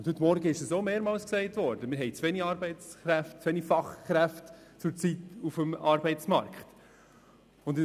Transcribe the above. Heute Vormittag ist mehrmals erwähnt worden, dass wir zurzeit zu wenige Arbeitskräfte, zu wenige Fachkräfte auf dem Arbeitsmarkt haben.